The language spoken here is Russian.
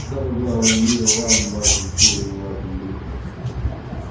самое главное мира вам вашим семьям вашим близким